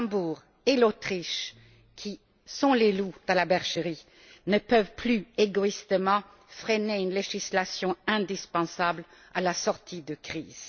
Le Luxembourg et l'Autriche, qui sont les loups dans la bergerie, ne peuvent plus, égoïstement, freiner une législation indispensable à la sortie de crise.